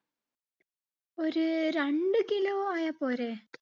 ഒരു രണ്ട് kilo ആയാ പോരെ?